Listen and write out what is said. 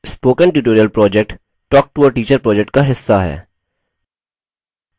spoken tutorial project talktoateacher project का हिस्सा है